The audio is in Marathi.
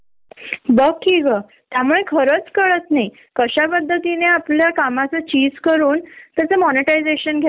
पण हे पुरुष का समजून घेत नाही. जेव्हा त्यांच्या घरी काही प्रॉब्लेम असतात त्यांना चटकन लीव मिळते, हाल्फ डे मिळतो